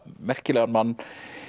merkilegan mann